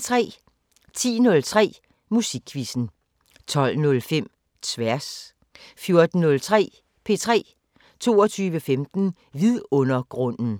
10:03: Musikquizzen 12:05: Tværs 14:03: P3 22:15: Vidundergrunden